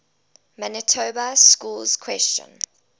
manitoba schools question